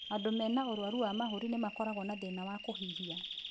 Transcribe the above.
Andũ mena ũrwaru wa mahũri nĩ makorago na thĩna wa kũhihia.